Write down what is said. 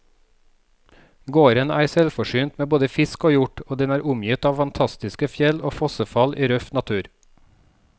Gården er selvforsynt med både fisk og hjort, og den er omgitt av fantastiske fjell og fossefall i røff natur.